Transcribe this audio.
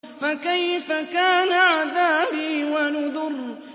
فَكَيْفَ كَانَ عَذَابِي وَنُذُرِ